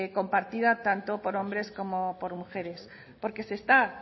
compartida tanto por hombres como por mujeres porque se está